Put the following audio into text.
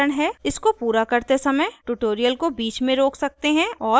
इसको पूरा करते समय ट्यूटोरियल को बीच में रोक सकते हैं और कोड टाइप करें